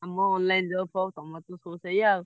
ତମର online job ଫବ୍ ତମର ତ ସବୁ ସେଇଆ।